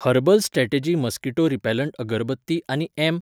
Herbal strategy mosquito repellent agarbatti आनी M.